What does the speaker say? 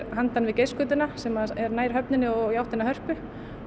handan við sem er nær höfninni og í áttina að Hörpu